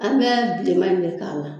An bɛ bilenman in ne k'a la.